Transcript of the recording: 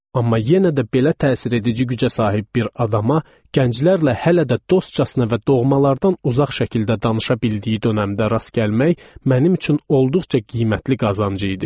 Amma yenə də belə təsiredici gücə sahib bir adama gənclərlə hələ də dostcasına və doğmalardan uzaq şəkildə danışa bildiyi dönəmdə rast gəlmək mənim üçün olduqca qiymətli qazancı idi.